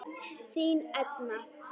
Þín Edna.